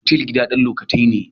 Otal gida ne na wucin gadi.